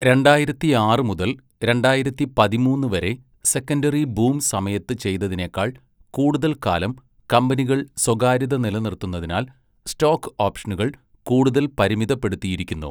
രണ്ടായിരത്തിയാറ് മുതൽ രണ്ടായിരത്തി പതിമൂന്ന് വരെ സെക്കൻഡറി ബൂം സമയത്ത് ചെയ്തതിനേക്കാൾ കൂടുതൽ കാലം കമ്പനികൾ സ്വകാര്യത നിലനിർത്തുന്നതിനാൽ, സ്റ്റോക്ക് ഓപ്ഷനുകൾ കൂടുതൽ പരിമിതപ്പെടുത്തിയിരിക്കുന്നു.